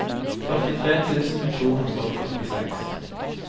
førtitre tusen to hundre og førtiseks